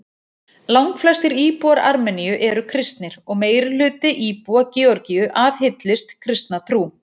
Langflestir íbúar Armeníu eru kristnir og meirihluti íbúa Georgíu aðhyllist kristna trú.